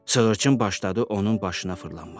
Sığırçın başladı onun başına fırlanmağa.